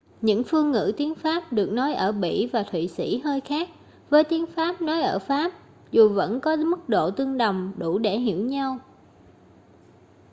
những phương ngữ tiếng pháp được nói ở bỉ và thụy sĩ hơi khác với tiếng pháp nói ở pháp dù vẫn có mức độ tương đồng đủ để hiểu nhau